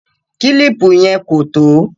Kílìpù yẹn kò tó